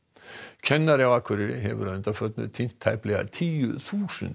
kennari á Akureyri hefur að undanförnu tínt tæplega tíu þúsund